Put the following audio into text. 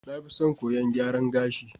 Na fi son koyon gyaran gashi.